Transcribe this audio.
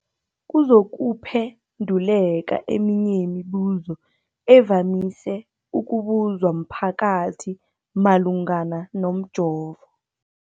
kuzokuphe nduleka eminye yemibu zo evamise ukubuzwa mphakathi malungana nomjovo.